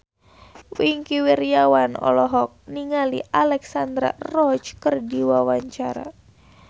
Wingky Wiryawan olohok ningali Alexandra Roach keur diwawancara